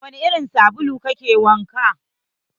Da wani irin sabulu ka ke wanka?